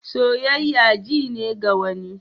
Soyayya ji ne ga wani.